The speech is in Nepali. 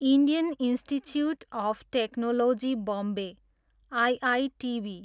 Indian institute of technology Bombay, IITB